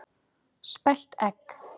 Spælt egg.